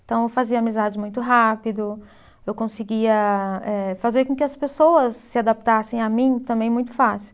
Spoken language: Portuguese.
Então, eu fazia amizades muito rápido, eu conseguia eh fazer com que as pessoas se adaptassem a mim também muito fácil.